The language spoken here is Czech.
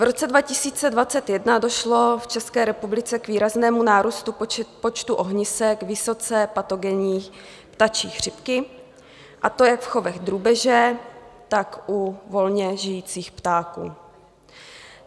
V roce 2021 došlo v České republice k výraznému nárůstu počtu ohnisek vysoce patogenní ptačí chřipky, a to jak v chovech drůbeže, tak u volně žijících ptáků.